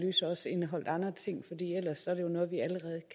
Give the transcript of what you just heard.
side